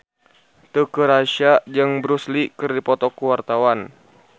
Teuku Rassya jeung Bruce Lee keur dipoto ku wartawan